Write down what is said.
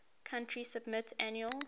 country submit annual